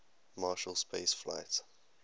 marshall space flight